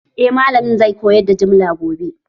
Eh malamin zai koyar da jimla gobe